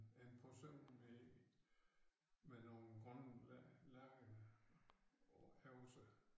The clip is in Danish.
En person med med nogle grønne lagener også